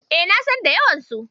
E, na san da yawansu.